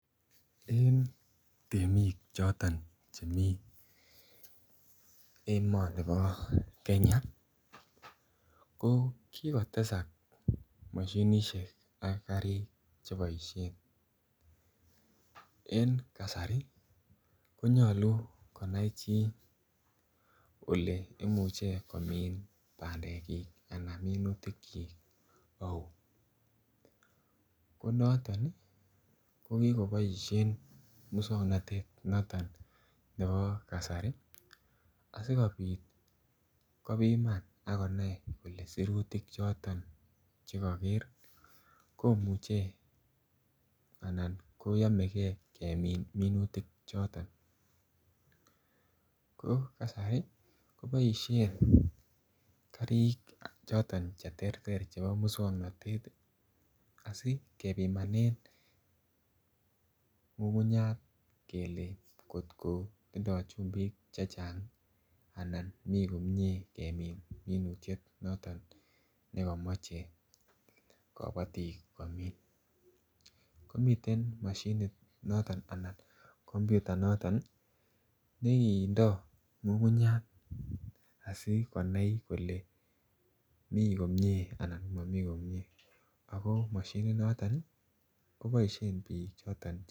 En temik choton chemii emonibo Kenya ko kigotesak moshinishek ak karik che boishen. En kasari konyoluu konai chi ole imuche komin bandekyik anan minutikyok ouu ko noton ii ko kikoboishen muswognot noton nebo kasari asikopit kopiman ak konai kole sirutik choton che koger komuche anan koyomegee kemin minutik choton. Ko kasari ko boishen karik choton che terter chebo muswognot asi kepimanen ngungunyat kele kot ko tindo chumbik chechang anan mi komie kemin minutiet noton ne komoche kobotik komin. Komiten moshinit noton anan komputa noton ne kindo ngungunyat asi konai kole mii komie anan komii komie ako moshini noton ko boishen biik choton